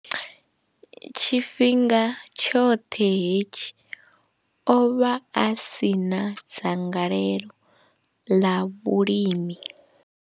Tshifhinga tshoṱhe hetshi, o vha a si na dzangalelo ḽa vhulimi.